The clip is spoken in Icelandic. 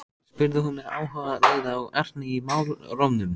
spurði hún með áhuga, leiða og ertni í málrómnum.